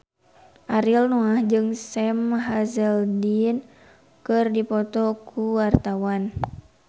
Ariel Noah jeung Sam Hazeldine keur dipoto ku wartawan